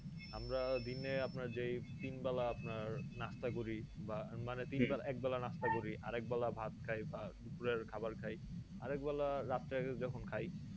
আমরা দিনে আপনার যেই তিন বেলা আপনার নাস্তা করি বা মানে তিন বেলা এক বেলা নাস্তা করি আর একবেলা ভাত খাই বা দুপুরের খাবার খাই আর একবেলা রাত্রে যখন খাই